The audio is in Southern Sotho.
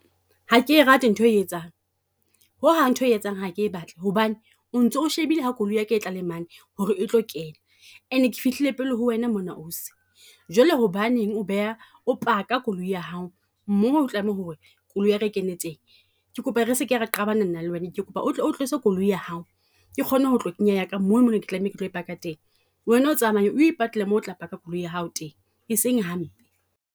Ha ke e rate ntho e o e etsang, ho hang ntho e o e etsang ha ke e batla hobane o ntso shebile ha koloi ya ka e tla le mane ho re e tlo kena. And-e ke fihlile pele ho wena mona ausi, jwale hobaneng o beha o paka koloi ya hao mo ho tlameha ho re koloi e kene teng. Ke kopa re seke ra qabana nna le wena, ke kopa o o tlose koloi ya hao ke kgone ho tlo kenya ya ka mo ne ke tlameha ke tlo e paka teng. Wena o tsamaye o ipatlela mo otla ka koloi ya hao teng, e seng hampe.